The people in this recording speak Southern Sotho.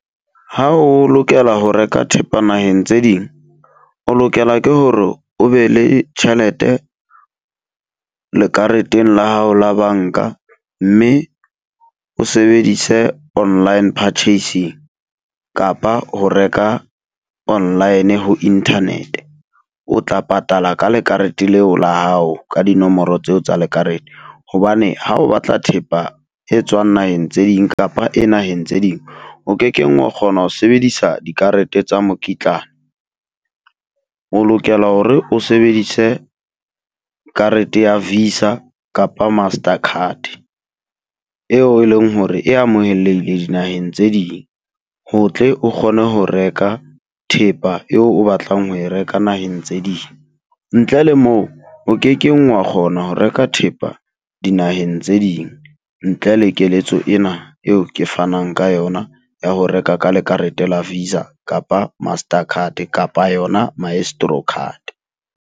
Ha o lokela ho reka thepa naheng tse ding, o lokela ke hore o be le tjhelete lekareteng la hao la banka. Mme o sebedise online purchasing. kapa ho reka online ho internet. O tla patala ka lekarete leo la hao ka dinomoro tseo tsa lekarete. Hobane ha o batla thepa e tswang naheng tse ding kapa e naheng tse ding, o kekeng wa kgona ho sebedisa dikarete tsa mokitlane. O lokela hore o sebedise karete ya Visa kapa Master card, eo e leng hore e amohelehile dinaheng tse ding, ho tle o kgone ho reka thepa eo o batlang ho reka naheng tse ding. Ntle le moo o kekeng wa kgona ho reka thepa dinaheng tse ding ntle le keletso ena eo ke fanang ka yona ya ho reka ka lekarete la Visa kapa Master card kapa yona Maestro card.